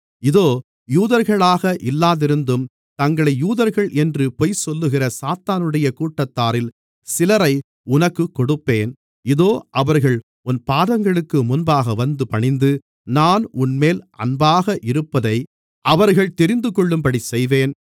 இதோ யூதர்களாக இல்லாதிருந்தும் தங்களை யூதர்கள் என்று பொய் சொல்லுகிற சாத்தானுடைய கூட்டத்தாரில் சிலரை உனக்குக் கொடுப்பேன் இதோ அவர்கள் உன் பாதங்களுக்கு முன்பாக வந்து பணிந்து நான் உன்மேல் அன்பாக இருப்பதை அவர்கள் தெரிந்துகொள்ளும்படி செய்வேன்